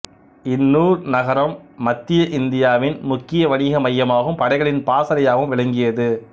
இந்தூர் நகரம் மத்திய இந்தியாவின் முக்கிய வணிக மையமாகவும் படைகளின் பாசறையாகவும் விளங்கியது